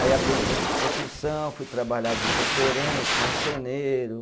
Aí aprendi outras profissão, fui trabalhar de conferente, marceneiro.